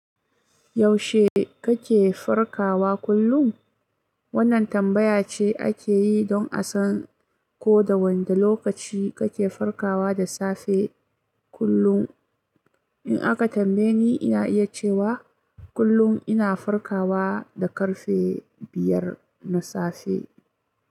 Yaushe kake farkawa kullum? Wannan tambaya ce ake yi don a san ko da wanda lokaci kake farkawa da safe kullum. In aka tambaye ni, ina iya cewa kullum ina farkawa da ƙarfe biyar na safe.